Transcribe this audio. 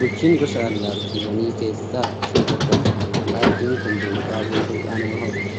Guchiin gosa allaattiiwwanii keessaa ishee tokkodha. Allaattiin kun buuphaa buusuudhaan walhorti.